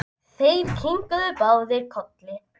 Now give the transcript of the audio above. Ertu ekki til í það?